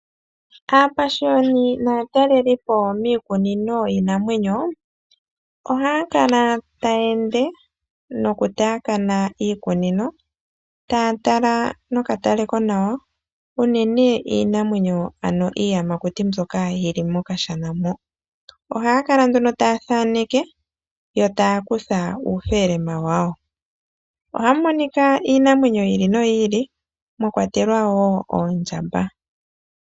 Aapashioni naatalelipo miikunino yiinamwenyo ohaya kala taya ende nokutaakana iikunino taya tala nokatale konawa unene iinamwenyo, ano iiyamakuti mbyoka yi li mokashana moka. Ohaya kala nduno taya thaneke yo taya kutha uufelema wawo. Ohamu monika iinamwenyo yi ili noyi ili mwa kwatelwa wo oondjamba.